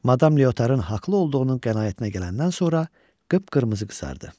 Madam Leotar'ın haqlı olduğunun qənaətinə gələndən sonra qıpqırmızı qızardı.